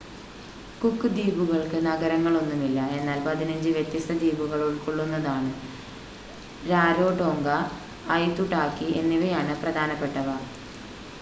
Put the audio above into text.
cook ദ്വീപുകൾക്ക് നഗരങ്ങളൊന്നുമില്ല എന്നാൽ 15 വ്യത്യസ്ത ദ്വീപുകൾ ഉൾക്കൊള്ളുന്നതാണ് രാരോടോംഗ ഐതുടാകി എന്നിവയാണ് പ്രധാനപ്പെട്ടവ